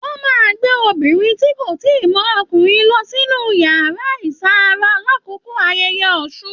Wọn máa n gbé obìnrin tí kò tíì mọ ọkùnrin lọ sínú yàrá iṣan-ara l'akoko ayẹyẹ Ọsún.